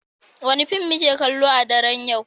Wane fim muke kallo a daren yau?